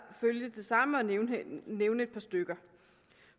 følge det samme og nævne nævne et par stykker